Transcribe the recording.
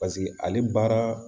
Paseke ale baara